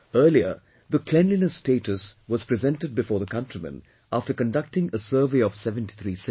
Earlier, the cleanliness status was presented before the countrymen after conducting a survey of 73 cities